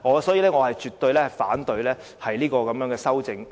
所以，我絕對反對這項修正案。